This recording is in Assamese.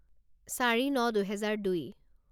চাৰি ন দুহেজাৰ দুই